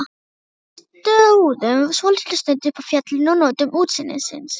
Við stóðum svolitla stund uppi á fjallinu og nutum útsýnisins.